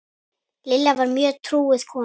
Lilla var mjög trúuð kona.